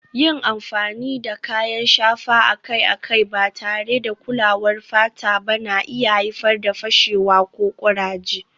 Yin amfani da kayan shafa akai-akai ba tare da kulawar fata ba na iya haifar da fashewa ko kuraje